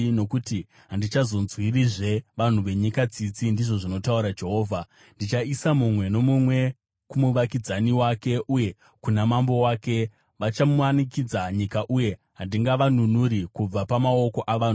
Nokuti handichazonzwirizve vanhu venyika tsitsi,” ndizvo zvinotaura Jehovha. “Ndichaisa mumwe nomumwe kumuvakidzani wake uye kuna mambo wake. Vachamanikidza nyika, uye handingavanunuri kubva pamaoko avo.”